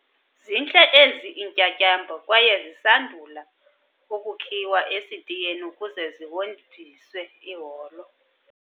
Zintle ezi iintyatyambo kwaye zisandula ukukhiwa esitiyeni ukuze zihonjiswe iholo.